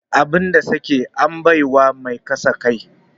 Abin da sake, an bai wa mai kaza kai.